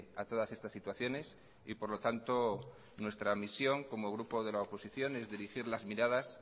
a todas estas situaciones y por lo tanto nuestra misión como grupo de la oposición es dirigir las miradas